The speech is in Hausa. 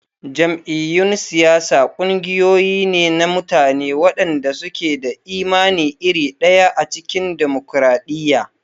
Jam'iyyun siyasa ƙungiyoyi ne na mutane waɗanda suke da imani iri ɗaya a cikin dimokuradiyya.